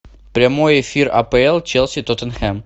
прямой эфир апл челси тоттенхэм